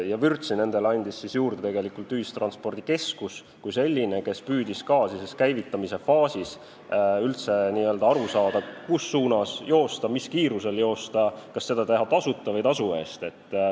Ja vürtsi andis juurde ühistranspordikeskus kui selline, kes püüdis ka sellises käivitamise faasis üldse aru saada, mis suunas joosta, missugusel kiirusel joosta ja kas teha seda tasuta või tasu eest.